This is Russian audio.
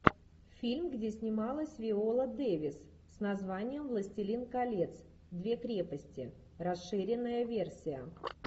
фильм где снималась виола дэвис с названием властелин колец две крепости расширенная версия